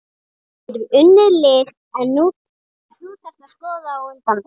Við getum unnið lið en þú þarft að skora á undan þeim.